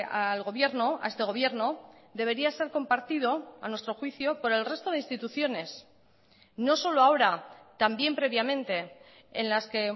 al gobierno a este gobierno debería ser compartido a nuestro juicio por el resto de instituciones no solo ahora también previamente en las que